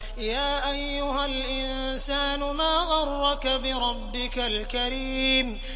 يَا أَيُّهَا الْإِنسَانُ مَا غَرَّكَ بِرَبِّكَ الْكَرِيمِ